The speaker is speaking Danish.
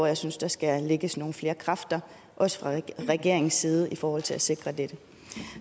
jeg synes der skal lægges nogle flere kræfter også fra regeringens side i forhold til at sikre dette